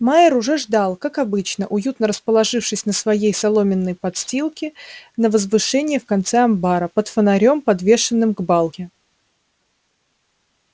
майер уже ждал как обычно уютно расположившись на своей соломенной подстилке на возвышении в конце амбара под фонарём подвешенным к балке